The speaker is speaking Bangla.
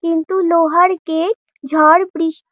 কিন্তু লোহার গেট । ঝড় বৃষ্ট--